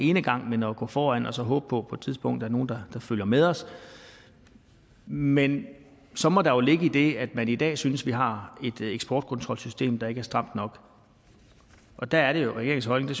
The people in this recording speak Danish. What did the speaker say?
enegang men om at gå foran og så håbe på på et tidspunkt er nogle der følger med os men så må der jo ligge i det at man i dag synes at vi har et eksportkontrolsystem der ikke er stramt nok og der er det regeringens holdning